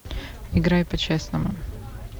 играй по честному